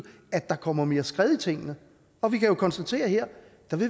at der kommer mere skred i tingene og vi kan jo konstatere at her